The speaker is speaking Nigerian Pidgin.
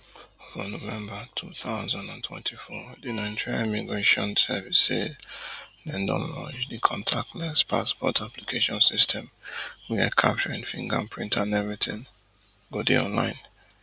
for november two thousand and twenty-four di nigeria immigration service say dem don launch di contactless passport application system wia capturing finger print and everytin go dey online